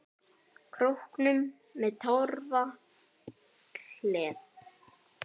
Króknum með ég torfi hleð.